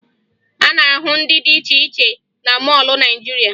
A na-ahụ ndị dị iche cihe na mọọlụ Naịjirịa